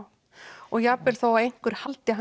og jafnvel þó einhver haldi